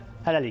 Hələlik.